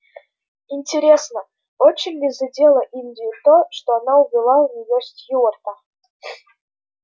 интересно очень ли задело индию то что она увела у неё стюарта